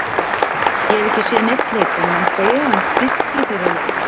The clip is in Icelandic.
Ég hef ekki séð neinn leik en menn segja að hann styrki þeirra leik.